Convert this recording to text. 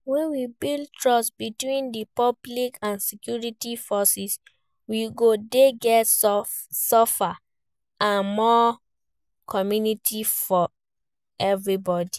When we build trust between di public and security forces, we go dey get safer and more communities for everybody.